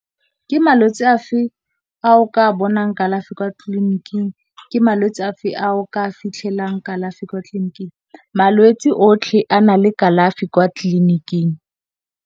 Ke malwetse afe a o ka bonang kalafi kwa tlliniking, ke malwetse a fa a o ka fitlhelang kalafi kwa tlliniking? Malwetse a otlhe a na le kalafi kwa tlliniking.